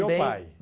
Do meu pai.